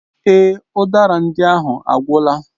Èè, udara ndị ahụ agwụla.